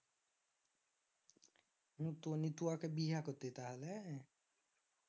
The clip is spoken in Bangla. হু তো নিয়ে তু ওকে বিয়েকরতিস তাহলে